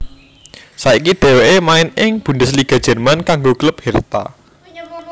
Saiki dhèwèké main ing Bundesliga Jerman kanggo klub Hertha